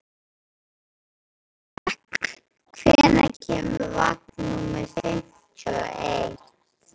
Embrek, hvenær kemur vagn númer fimmtíu og eitt?